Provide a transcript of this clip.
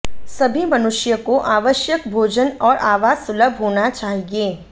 सभी मनुष्यों को आवश्यक भोजन और आवास सुलभ होना चाहिए